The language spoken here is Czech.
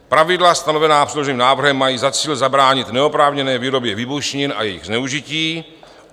Pravidla stanovená předloženým návrhem mají za cíl zabránit neoprávněné výrobě výbušnin a jejich zneužití.